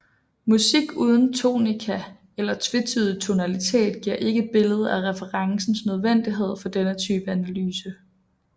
Musik uden tonika eller tvetydig tonalitet giver ikke et billede af referencens nødvendighed for denne type analyse